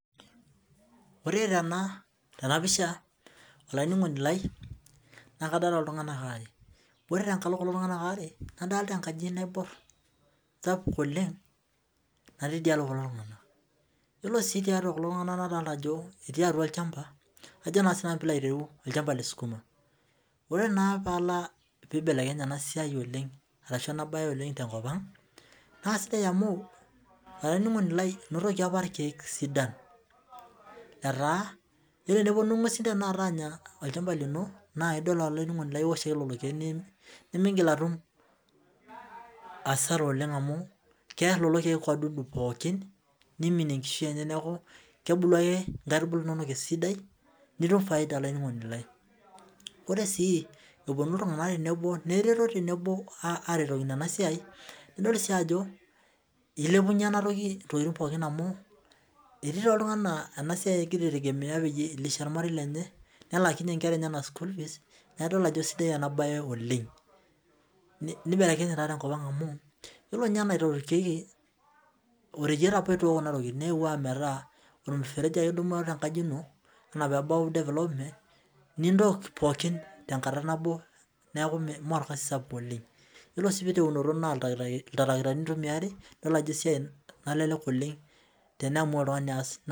Ore tena pisha olaininingoni lai naa kadolita iltunganak aare ore tekata kulo tunganak aare nadolita enkaji naibor sapuk oleng natii tidialo kulo tunganak ore sii tiatua kulo tunganak nadolita ajo etii atua olchamba ajo naa sinanu pee ilo aitereu olchamba lesukuma ore naa paalo peibelekenya ena siai oleng ashu ena bae oleng te enkop ang naa sidai amu olaininingoni lai enotoki apa irkeek sidan letaa ore teneponu inguesin tenakata anyaa olchamba lino naa idol olaininingoni lai niwosh ake lelo keek nimingil atum hasara oleng amu kear lelo keek wadudu pooki niminie ekishui enye neaku kebulu ake nkaitubulu inonok esidai nitum faida olaininingoni lai ore sii eponu iltunganak tenebo neretu tenebo aretokino ena siai nidol sii ajo ilepunyie ena toki intokitin pooki amu etii oltungani naa ena siai egira aitengemea peyie ilisha ormarei lenye nelakinyee inkera enyenak school fees neaku idol ajo isidai ena bae oleng nibelekenyenye taadi enkop ang amu ore ninye apa enaterunyieki naa oreiyiet apa neeuu ometaa ormfereji ake idumu tenkaji ino enaa pee ebau development nitook pooki tekata nabo neaku Mee orkazi sapuk oleng ore sii teunoto naa oltarikitani itumiari idol ajo esiai nalelek oleng tiniamua oltungani aas .